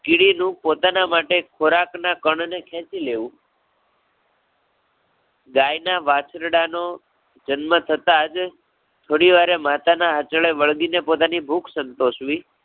કિડીનું પોતાના માટે ખોરાક ના કણ ને ખેચી લેવું. ગાય ના વાછરડા નો જન્મ થતાં જ, થોડી વારે માતા ના આંચળે વળગી ને પોતાની ભૂખ સંતોષવી.